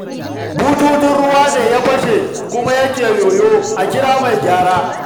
Bututun ruwan ne ya fashe kuma yake yoyo, a kira mai gyara